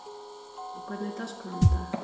Kató, hvernig er dagskráin í dag?